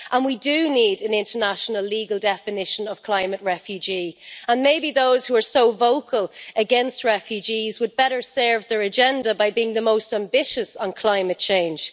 We do need an international legal definition of climate refugee and maybe those who are so vocal against refugees would better serve their agenda by being the most ambitious on climate change.